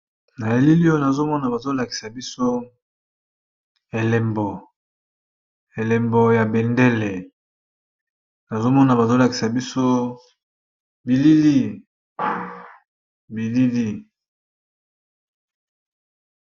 Na elili oyo nazomona bazo lakisa biso elembo, elembo ya bendele nazomona bazo lakisa biso bilili bilili.